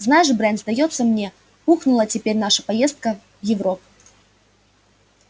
знаешь брент сдаётся мне ухнула теперь наша поездка в европу